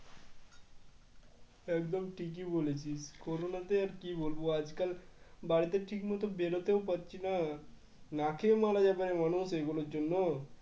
একদম ঠিকই বলেছিস করোনাতে আর কি বলব আজকাল বাড়িতে ঠিক মতন বেরোতেও পারছি না, না খেয়ে মারা যাবে মানুষ এগুলোর জন্য।